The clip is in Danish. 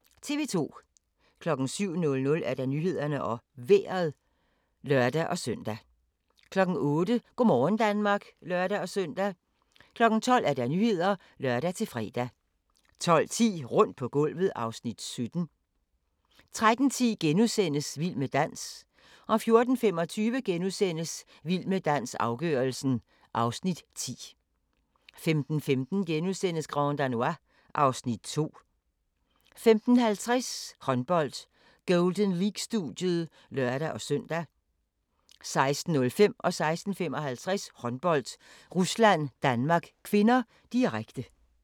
07:00: Nyhederne og Vejret (lør-søn) 08:00: Go' morgen Danmark (lør-søn) 12:00: Nyhederne (lør-fre) 12:10: Rundt på gulvet (Afs. 17) 13:10: Vild med dans * 14:25: Vild med dans – afgørelsen (Afs. 10)* 15:15: Grand Danois (Afs. 2)* 15:50: Håndbold: Golden League-studiet (lør-søn) 16:05: Håndbold: Rusland-Danmark (k), direkte 16:55: Håndbold: Rusland-Danmark (k), direkte